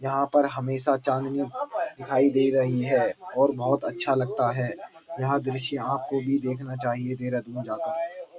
यहाँ पर हमेशा चाँदनी दिखाई दे रही है और बहोत अच्छा लगता है। यह दृश्य आपको भी देखना चाहिए देहरादून जाकर।